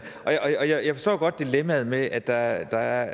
jeg forstår godt dilemmaet med at der